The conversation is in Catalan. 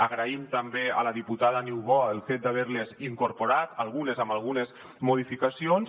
agraïm també a la diputada niubó el fet d’haver les incorporat algunes amb algunes modificacions